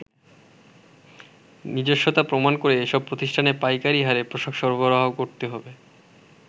নিজস্বতা প্রমাণ করে এসব প্রতিষ্ঠানে পাইকারি হারে পোশাক সরবরাহ করতে হবে।